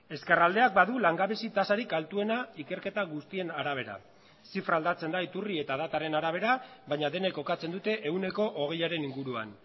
ezkerraldeak badu langabezi tasarik altuena ikerketa guztien arabera zifra aldatzen da iturri eta dataren arabera baina denek kokatzen dute ehuneko hogeiaren inguruan